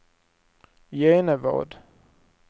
Genevad